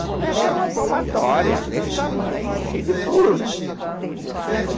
A boneca era uma palmatória desse tamanho, cheia de furo, né?